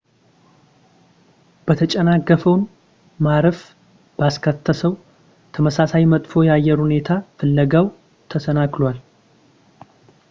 የተጨናገፈውን ማረፍ ባስከሰተው ተመሳሳይ መጥፎ የአየር ሁኔታ ፍለጋው ተሰናክሏል